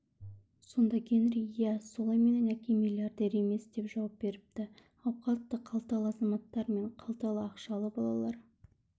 сонда генри ия солай менің әкем миллиардер емес деп жауап беріпті ауқатты-қалталы азаматтар мен қалталы-ақшалы балалар